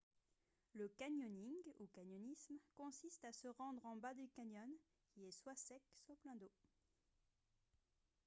le canyoning ou canyonisme consiste à se rendre en bas d’un canyon qui est soit sec soit plein d’eau